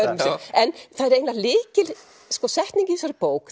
en það er eiginlega lykilsetning í þessari bók